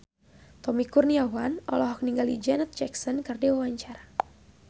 Tommy Kurniawan olohok ningali Janet Jackson keur diwawancara